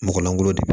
Mɔgɔ lankolo de